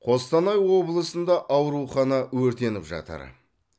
қостанай облысында аурухана өртеніп жатыр